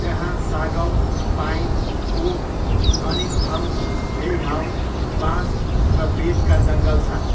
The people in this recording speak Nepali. त्यहाँ सागौन, पाइन, ओक, अनिङथाउ, लेइहाओ, बाँस र बेतका जङ्गल छन्।